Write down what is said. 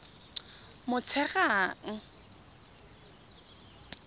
motshegang